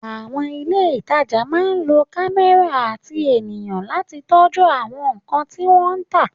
Àwọn ilé ìtajà máa ń lo kámẹ́rà àti ènìyàn láti tọ́jú àwọn nkan tí wọ́n ta